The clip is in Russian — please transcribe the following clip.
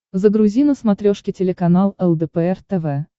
загрузи на смотрешке телеканал лдпр тв